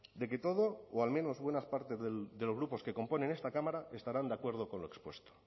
de que todo o al menos buenas partes de los grupos que componen esta cámara estarán de acuerdo con lo expuesto